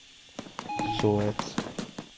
суэц